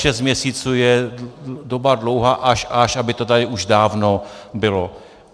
Šest měsíců je doba dlouhá až až, aby to tady už dávno bylo.